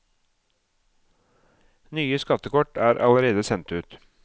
Nye skattekort er allerede sendt ut.